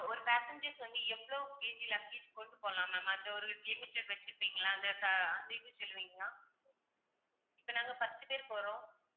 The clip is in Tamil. ஒரு passengers வந்து எவ்வளோ KG ல luggage கொண்டு போலாம் ma'am அந்த ஒரு limited வச்சிருப்பீங்கல்ல அந்த இது சொல்லுவீங்களா இப்போ நாங்க பத்து பேரு போறோம்.